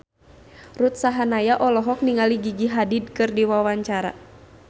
Ruth Sahanaya olohok ningali Gigi Hadid keur diwawancara